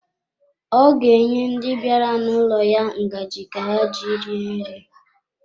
Ọ ga-enye ndi bịara n'ụlọ ya ngaji ka ha ji rie nri.